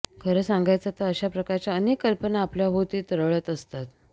खरं सांगायचं तर अशा प्रकारच्या अनेक कल्पना आपल्याभोवती तरळत असतात